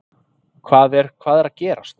Hvað er, hvað er að gerast?